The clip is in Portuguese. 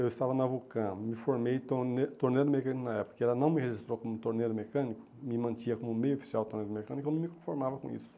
Eu estava na Vulcã, me formei tornei torneiro mecânico na época, porque ela não me registrou como torneio mecânico, me mantinha como meio oficial de torneio mecânico e eu não me conformava com isso.